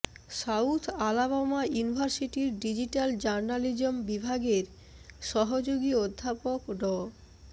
south Alabama ইউনিভার্সিটির digital journalism বিভাগের সহযোগী অধ্যাপক ড